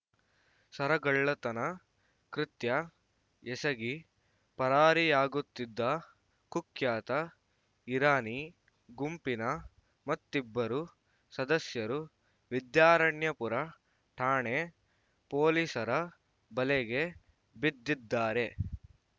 ಸರಗಳ್ಳತನ ಕೃತ್ಯ ಎಸಗಿ ಪರಾರಿಯಾಗುತ್ತಿದ್ದ ಕುಖ್ಯಾತ ಇರಾನಿ ಗುಂಪಿನ ಮತ್ತಿಬ್ಬರು ಸದಸ್ಯರು ವಿದ್ಯಾರಣ್ಯಪುರ ಠಾಣೆ ಪೊಲೀಸರ ಬಲೆಗೆ ಬಿದ್ದಿದ್ದಾರೆ